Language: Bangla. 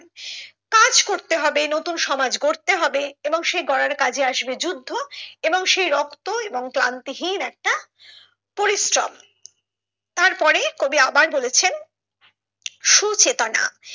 কাজ করতে হবে নতুন সমাজ গড়তে হবে এবং সে গড়ার কাজে আসবে যুদ্ধ এবং সে রক্ত এবং ক্লান্তি হীন একটি পরিশ্রম তারপরে কবি আবার বলেছেন সুচেতনা।